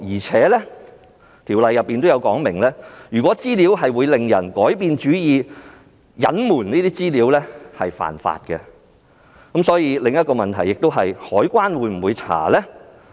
此外，《條例》亦有說明，如果資料會使人改變主意，隱瞞有關資料便屬違法，所以當中衍生的另一個問題，就是海關會否進行調查呢？